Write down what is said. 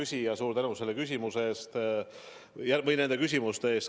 Hea küsija, suur tänu selle küsimuse eest või nende küsimuste eest.